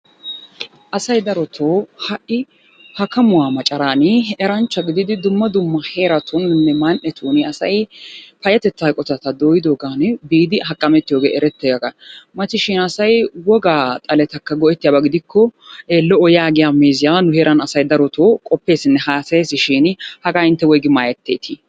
Asay darotoo ha"i hakkamuwa macaraani eranchcha gididi dumma dumma heeratuuninne man"etun asay payyatettan eqotata dooyidoogaani biidi hakkamettiyogee erettiygaa. Matishin asay wogaa xaletakka go'ettiyaba gidikko lo'o yaagiya meeziyan nu heeran asay darotoo qoppeesinne haasayeesishiini hagaa intte woygi maayetteetii?